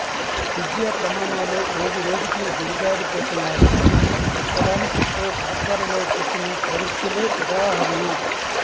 విద్యా ప్రమాణాలు రోజు రోజుకి దిగజారి పోతున్నాయి అని చెప్పడానికి ఓ పాఠశాలలో పెట్టిన పరీక్షలే ఉదాహరణ